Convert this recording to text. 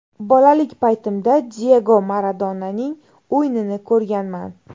Bolalik paytimda Diyego Maradonaning o‘yinini ko‘rganman.